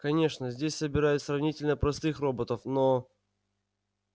конечно здесь собирают сравнительно простых роботов но